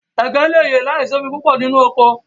Ẹ̀gẹ̀ lè yẹ làísì omi púpọ̀ lórí oko.